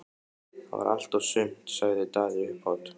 Það var allt og sumt, sagði Daði upphátt.